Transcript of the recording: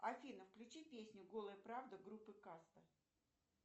афина включи песню голая правда группы каста